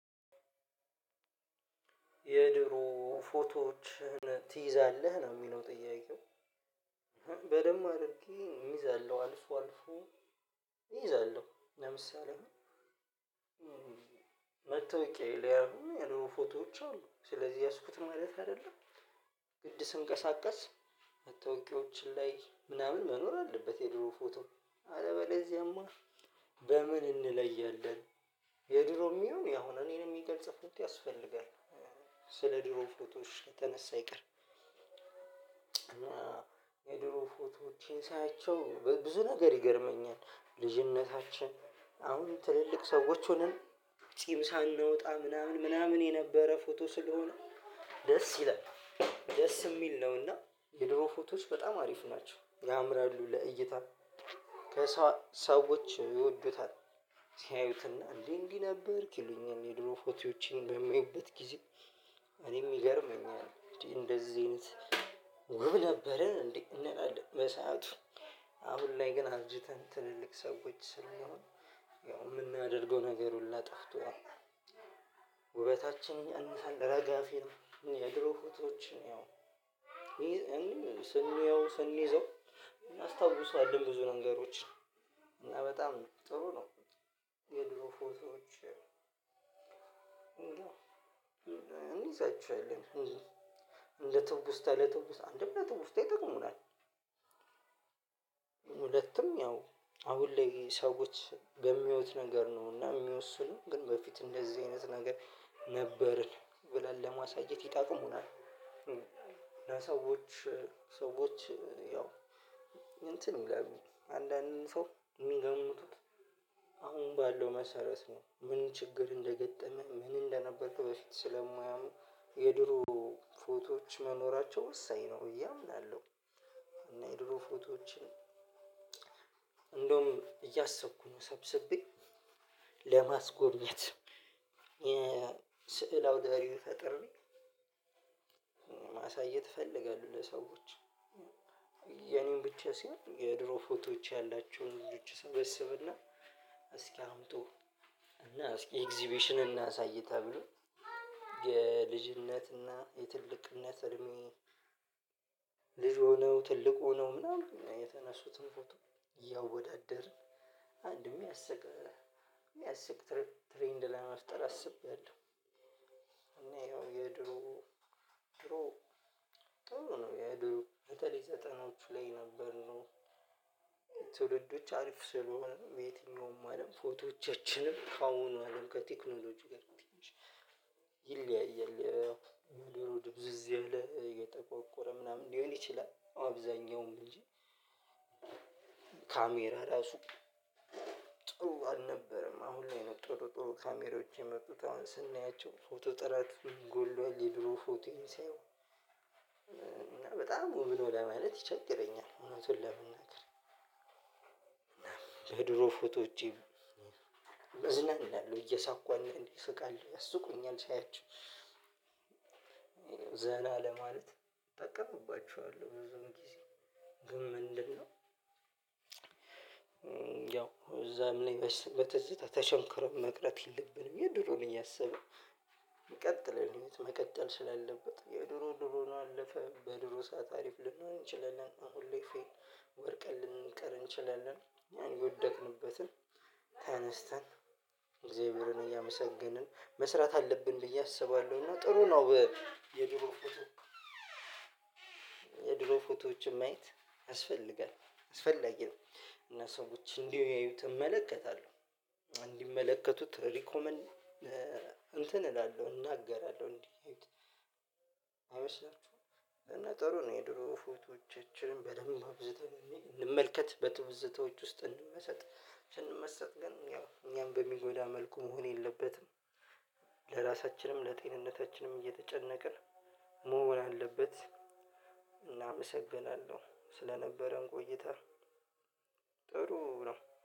የድሮ ፎቶዎችህን ትይዛለህ ነው የሚለው ጥያቄው? በደንብ አድርጌ እይዛለሁ አልፎ አልፎ እይዛለሁ። ለምሳሌ መታወቂያዬ ላይ አሁን የድሮ ፎቶዎች አሉ ስለዚህ ያዝኩት ማለት አይደለም። ግድ ስንቀሳቀስ መታወቂያዎችን ላይ ምናምን መኖር አለበት። የድሮ ፎቶ አለበለዚያማ በምን እንለያለን? የድሮም ይሁን ያሁን እኔን የሚገልጽ ፎቶ ያስፈልጋል። ስለ ድሮ ፎቶዎች ከተነሳ አይቀር። እና የድሮ ፎቶዎቼን ሳያቸው በብዙ ነገር ይገርመኛል። ልጅነታችን አሁን ትልልቅ ሰዎች ሆነን ጽም ሳናወጣ ምናምን ምናምን የነበረ ፎቶ ስለሆነ። ደስ ይላል ደስ የሚል ነውና። የድሮ ፎቶዎች በጣም አሪፍ ናቸው ያምራሉ ለእይታ ከሳ ሰዎች ይወዱታል። ሲያዩትና እንዴ እንዲህ ነበርክ ይሉኛል የድሮ ፎቶዎቼን በማይበት ጊዜ። እኔም ይገርመኛል እንደዚህ አይነት ውብ ነበርን እንዴ እንላለን። በሰአቱ አሁን ላይ ግን አርጅተን ትልልቅ ሰዎች ስለምሆን ያው የምናደርገው ነገር ሁሉ ጠፍቷል። ውበታችንን ያንሳል ረጋፌ ነው። የድሮ ፎቶዎችን ያው ስናየው ስንይዘው እናስታውስለን ብዙ ነገሮችን እና በጣም ጥሩ ነው። የድሮ ፎቶዎች እንይዛችኋለን እንደ ትውስታ ለትውስታ አንድም ለትውስታ ይጠቅሙናል። ሁለትም ያው አሁን ላይ ሰዎች በሚያዩት ነገር ነው እና የሚወስኑት ግን በፊት እንደዚህ አይነት ነገር ነበርን ብለን ለማሳየት ይጠቅሙናል። ሰዎች ያው እንትን ይላሉ አንዳንድ ሰው የሚገምቱት አሁን ባለው መሰረት ነው ምን ችግር እንደገጠመ ምን እንደነበርክ በፊት ስለማያውቁ የድሮ ፎቶዎች መኖራቸው ወሳኝ ነው ብዬ አምናለሁ። እና የድሮ ፎቶዎችን እንደውም እያሰብኩ ነው ሰብስቤ ለማስጎብኘት የ ስዕል አውደርእይ ፈጥሬ ማሳየት እፈልጋለው። ለሰዎች የኔን ብቻ ሳሆን የድሮ ፎቶዎች ያላቸውን ልጆች እሰበስብና እስኪ አምጡ እና እስኪ ኤግዚቤሽን እናሳይ ተብሎ። የልጅነትና የትልቅነት እድሜ ልጅ ሆነው ትልቅ ሆነው ምናምን የተነሱትን ፎቶ እያወዳደርን አንድም የሚያስቅ የሚያስቅ ትሬንድ ለመፍጠር አስቤያለሁ። እና ይኸው የድሮ ድሮ ጥሩ ነው የድሮ በተለይ ዘጠናዎቹ ላይ የነበርነው ትውልዶች አሪፍ ስለሆኑ የትኛውም አለም ፎቶዎቻችንም ከአሁኑ አለም ከቴክኖሎጂ ጋር። ይለያያል ያው የድሮው ድብዝዝ ይለው የጠቋቆረ ምናምን ሊሆን ይችላል። አብዛኛውም እንጂ ካሜራ ራሱ ጥሩ አልነበረም። አሁን ላይ ነው ጥሩ ጥሩ ካሜራዎች የመጡት አሁን ስናያቸው ፎቶ ጥራት ጎሏል። የድሮ ፎቶዬን ሲያዩ በጣም ውብ ነው ለማለት ይቸግረኛል። እውነቱን ለመናገር። ፎቶዎቼ እዝናናለሁ እየሳኩ እንዴ እስቃለው ያስቁኛል ሳያቸው። ዘና ለማለት እጠቀምባችኋለሁ ብዙን ጊዜ ግን ምንድነው? ያው እዛም ላይ በትዝታ ተሸንክሮ መቅረት የለብንም። የድሮ ነው እያሰብን የሚቀጥለን መቀጠል ስላለበት የድሮ ድሮ ነው አለፈ በድሮ ሰዓት አሪፍ ልንሆን እንችለናለን። ሁሌ ፌን ወድቀን ልንቀር እንችላለን። የወደቅንበትን ተነስተን እግዝያብሄርን እያመሰገንን መስራት አለብን ብዬ አስባለሁ። እና ጥሩ ነው። የድሮ ፎቶ የድሮ ፎቶዎችን ማየት ያስፈልጋል አስፈላጊ ነው። እና ሰዎች እንዲያዩት እመለከታለሁ እንዲመለከቱት ሪኮመንድ እንትን እላለሁ እናገራለሁ እንዴት? አይመስላችሁም? እና ጥሩ ነው የድሮ ፎቶቻችንን በደንብ አብዝተን እንመልከት በትውዝታዎች ውስጥ እንመሰጥ ስንመሰጥ ግን ያው እኛም በሚጎዳ መልኩ መሆን የለበትም። ለራሳችንም ለጤንነታችንም እየተጨነቅን መሆን አለበት። እና አመሰግናለው ስለነበረን ቆይታ። ጥሩ ነው